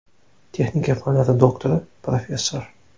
Texnika fanlari doktori, professor.